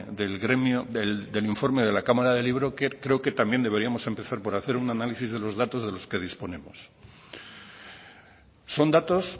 del gremio del informe de la cámara del libro creo que también deberíamos empezar por hacer un análisis de los datos de los que disponemos son datos